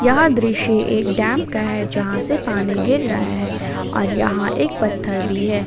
यह दृश्य एक डैम का है जहां से पानी गिर रहा है और यहां एक पत्थर भी है।